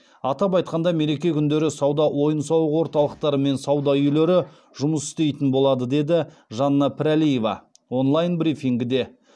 атап айтқанда мереке күндері сауда ойын сауық орталықтары мен сауда үйлері жұмыс істейтін болады деді жанна пірәлиева онлайн брифингіде